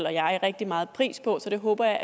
og jeg er rigtig meget pris på så det håber